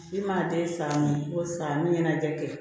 I man te san min ye ko sa ni ɲɛnajɛ kɛ kɛ